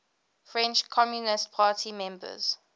french communist party members